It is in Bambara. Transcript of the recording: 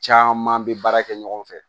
Caman bɛ baara kɛ ɲɔgɔn fɛ